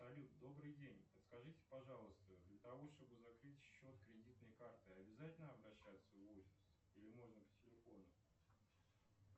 салют добрый день подскажите пожалуйста для того чтобы закрыть счет кредитной карты обязательно обращаться в офис или можно по телефону